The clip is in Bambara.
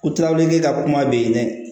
O tilaweleke ka kuma bɛ yen dɛ